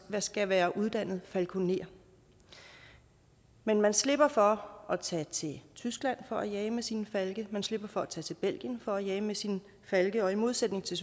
skal være uddannet falkoner men man slipper for at tage til tyskland for at jage med sine falke man slipper for at tage til belgien for at jage med sine falke og i modsætning til